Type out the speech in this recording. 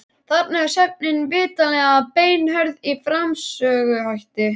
Þarna er sögnin vitanlega beinhörð í framsöguhætti.